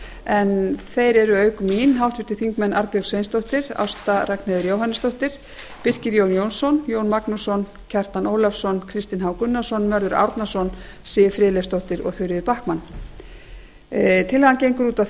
en þeir eru auk mín háttvirtir þingmenn arnbjörg sveinsdóttir ásta ragnheiður jóhannesdóttir birkir jón jónsson jón magnússon kjartan ólafsson kristinn h gunnarsson mörður árnason siv friðleifsdóttir og þuríður backman tillagan gengur út á